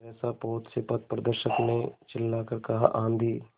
सहसा पोत से पथप्रदर्शक ने चिल्लाकर कहा आँधी